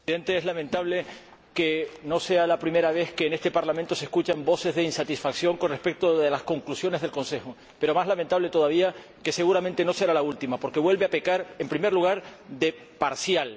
Señor Presidente, es lamentable que no sea la primera vez que en este Parlamento se escuchan voces de insatisfacción con respecto a las Conclusiones del Consejo, pero más lamentable es todavía que, seguramente, no será la última, porque vuelve a pecar, en primer lugar, de parcial.